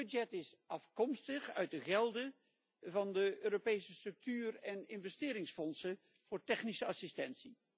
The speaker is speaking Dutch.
Het budget is afkomstig uit de gelden van de Europese structuur en investeringsfondsen voor technische bijstand.